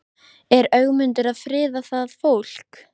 Er Ögmundur að friða það fólk?